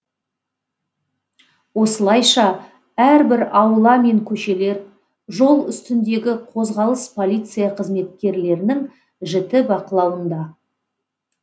осылайша әрбір аула мен көшелер жол үстіндегі қозғалыс полиция қызметкерлерінің жіті бақылауында